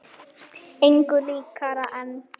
Engu líkara en